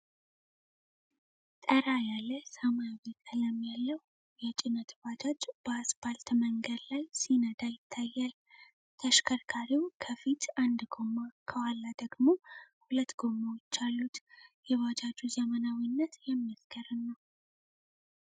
ጠራ ያለ ሰማያዊ ቀለም ያለው የጭነት ባጃጅ በአፓልት መንገድ ላይ ሲነዳ ይታያል። ተሽከርካሪው ከፊት አንድ ጎማ፣ ከኋላ ደግሞ ሁለት ጎማዎች አሉት። የባጃጁ ዘመናዊነት የሚያስገርም ነው።